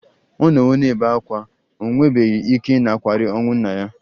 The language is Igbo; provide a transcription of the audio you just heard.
Ọ nọwo na-ebe ákwá, o nwebeghị ike ịnakwere ọnwụ nna ya